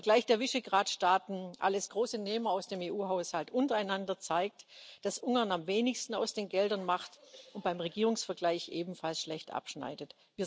Der Vergleich der Visegrad Staaten alles große Nehmer aus dem EU Haushalt untereinander zeigt, dass Ungarn am wenigsten aus den Geldern macht und beim Regierungsvergleich ebenfalls schlecht abschneidet.